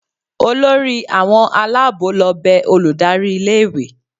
olori awọn alabo lo be olùdarí ilé ìwé